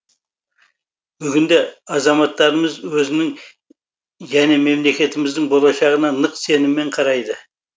бүгінде азаматтарымыз өзінің және мемлекетіміздің болашағына нық сеніммен қарайды